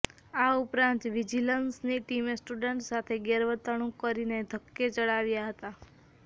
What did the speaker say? આ ઉપરાંત વિજિલન્સની ટીમે સ્ટુડન્ટ્સ સાથે ગેરવતર્ણુક કરીને ધક્કે ચડાવ્યા હતા